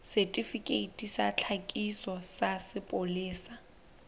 setifikeiti sa tlhakiso sa sepolesa